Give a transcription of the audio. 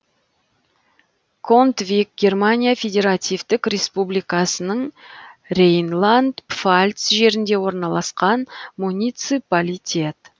контвиг германия федеративтік республикасының рейнланд пфальц жерінде орналасқан муниципалитет